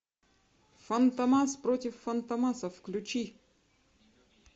фантомас против фантомаса включи